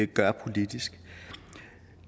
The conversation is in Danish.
gør politisk